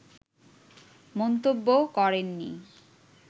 মন্তব্য করেননি